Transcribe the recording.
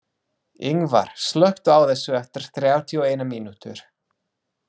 Yngvar, slökktu á þessu eftir þrjátíu og eina mínútur.